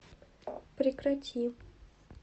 прекрати